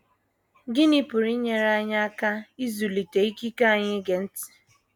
Gịnị pụrụ inyere anyị aka ịzụlite ikike anyị ige ntị?